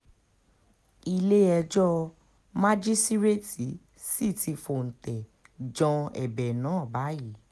ilé-ẹjọ́ májísréètì sì ti fóúntẹ̀ jan ẹ̀bẹ̀ náà báyìí